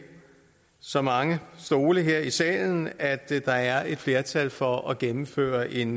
så mange stole her i salen at der er et flertal for at gennemføre en